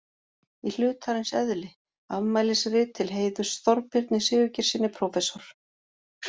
Í hlutarins eðli: Afmælisrit til heiðurs Þorbirni Sigurgeirssyni prófessor.